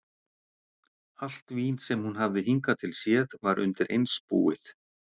Allt vín sem hún hafði hingað til séð var undireins búið.